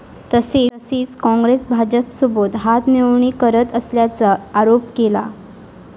तसेच काँग्रेस भाजपसोबत हातमिळवणी करत असल्याचा आरोप केला.